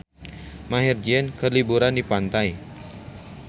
Maher Zein keur liburan di pantai